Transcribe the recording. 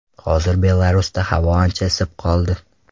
Hozir Belarusda havo ancha isib qoldi.